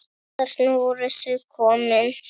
Þarna voru þau komin.